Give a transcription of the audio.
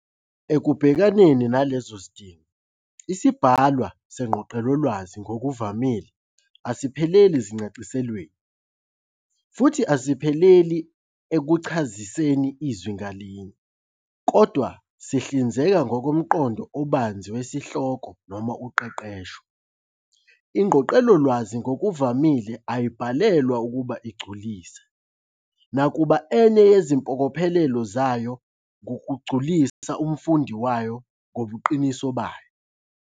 Ekubhekaneni nalezo zidingo, isibhalwa sengqoqelolwazi ngokuvamile asipheleli ezincasiselweni, futhi asipheleli ekuchasiseni izwi ngalinye, kodwa sihlinzeka ngomqondo obanzi wesihloko noma uqeqesho. INgqoqelolwazi ngokuvamile ayibhalelwa ukuba igculise, nakuba enye yezimpokophelo zayo kungukugculisa umfundi wayo ngobuqiniso bayo.